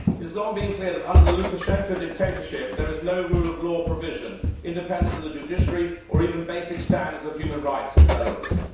It has long been clear that, under the Lukashenko dictatorship, there is no rule of law provision, independence of the judiciary or even basic standards of human rights in Belarus.